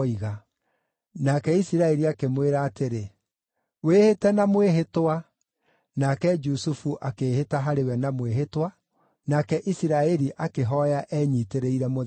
Nake Isiraeli akĩmwĩra atĩrĩ, “Wĩhĩte na mwĩhĩtwa.” Nake Jusufu akĩĩhĩta harĩ we na mwĩhĩtwa, nake Isiraeli akĩhooya enyiitĩrĩire mũthĩgi wake.